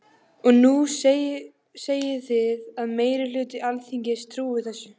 Og nú segið þið að meiri hluti Alþingis trúi þessu.